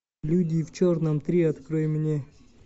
люди в черном три открой мне